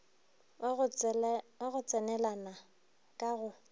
wa go tsenelana ka go